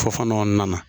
Fɔ kɔnɔna na